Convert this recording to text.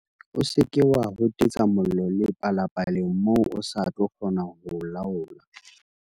O seke wa hotetsa mollo le palapaleng moo o sa tlo kgona ho o laola.